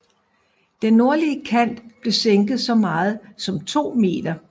Den nordlige kant blev sænket så meget som 2 m